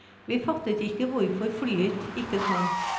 Vi fattet ikke hvorfor flyet ikke kom.